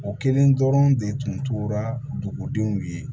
O kelen dɔrɔn de tun tora dugudenw ye